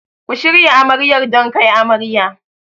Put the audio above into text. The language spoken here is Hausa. Ku shirya Amaryar don kai amarya.